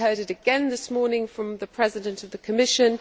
day we heard it again this morning from the President of the Commission.